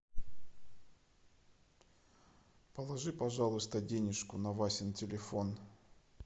положи пожалуйста денежку на васин телефон